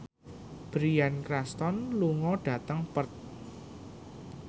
Bryan Cranston lunga dhateng Perth